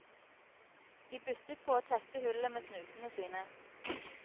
De byttet på å tette hullet med snutene sine.